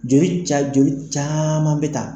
Joli ca joli caman bɛ ta.